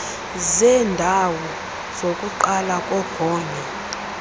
zeendawo zokuqala zogonyo